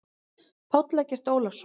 Páll Eggert Ólason.